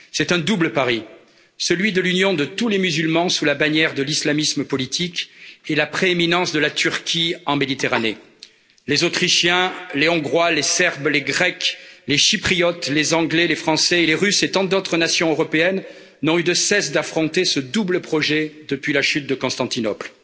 C'est un double pari celui de l'union de tous les musulmans sous la bannière de l'islamisme politique et la prééminence de la Turquie en Méditerranée. Les Autrichiens, les Hongrois, les Serbes, les Grecs, les Chypriotes, les Anglais, les Français et les Russes et tant d'autres nations européennes n'ont eu de cesse d'affronter ce double projet depuis la chute de Constantinople.